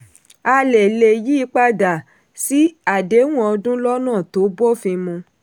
a lè lè yí i padà sí àdéhùn ọdún lọ́nà tó bófin mu.